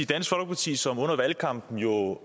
dansk folkeparti som under valgkampen jo